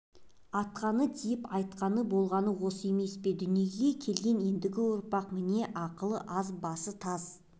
атқаны тиіп айтқаны болғаны осы емес пе дүниеге келген ендігі ұрпақтың міне ақылы аз басы таз